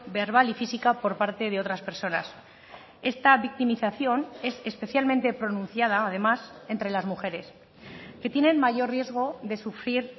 verbal y física por parte de otras personas esta victimización es especialmente pronunciada además entre las mujeres que tienen mayor riesgo de sufrir